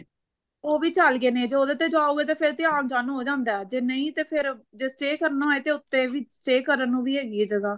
ਉਹ ਵੀ ਚੱਲ ਗਏ ਨੇ ਜੇ ਉਹਦੇ ਤੇ ਜਾਓਗੇ ਤੇ ਫੇਰ ਤੇ ਆਣ ਜਾਨ ਹੋ ਜਾਂਦਾ ਜੇ ਨਹੀਂ ਤੇ ਫੇਰ ਜੇ stay ਕਰਨਾ ਹੋਵੇ ਤਾਂ ਉੱਥੇ stay ਕਰਨ ਨੂੰ ਵੀ ਹੈਗੀ ਐ ਜਗ੍ਹਾ